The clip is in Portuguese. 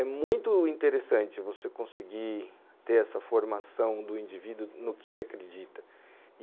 É muito interessante você conseguir ter essa formação do indivíduo no que ele acredita.